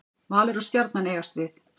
Valur og Stjarnan eigast við.